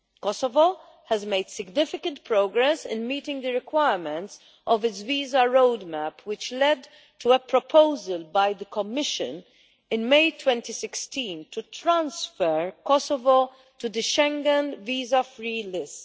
Kosovo has made significant progress in meeting the requirements of its visa roadmap, which led to a proposal by the Commission, in May 2016, to transfer Kosovo to the Schengen visa free list.